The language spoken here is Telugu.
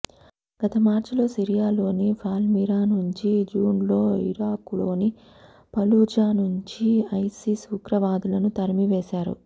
గత మార్చిలో సిరియాలోని పాల్మిరా నుంచి జూన్లో ఇరాక్లోని ఫలూజా నుంచి ఐసిస్ ఉగ్రవాదులను తరిమివేశారు